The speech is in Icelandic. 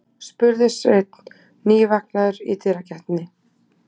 spurði Sveinn, nývaknaður í dyragættinni.